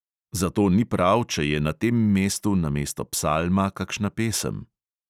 Zato ni prav, če je na tem mestu namesto psalma kakšna pesem.